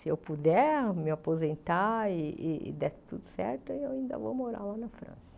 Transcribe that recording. Se eu puder me aposentar e e der tudo certo, eu ainda vou morar lá na França.